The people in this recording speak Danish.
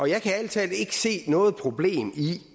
jeg kan ærlig talt ikke se noget problem i